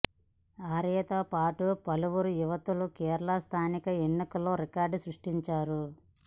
ఆర్యతో పాటు పలువురు యువతులు కేరళ స్థానిక ఎన్నికల్లో రికార్డులు సృష్టించారు